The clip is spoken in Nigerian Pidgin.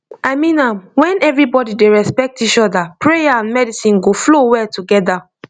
i mean am when everybody dey respect each other prayer and medicine go flow well together